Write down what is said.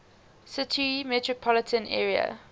city metropolitan area